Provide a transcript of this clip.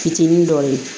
Fitinin dɔw ye